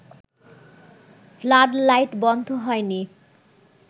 flood light বন্ধ হয়নি